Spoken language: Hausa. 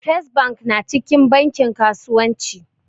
First bank na cikin bankin kasuwanci